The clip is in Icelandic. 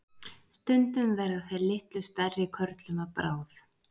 stundum verða þeir litlu stærri körlum að bráð